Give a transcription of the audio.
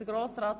Aber Grossrat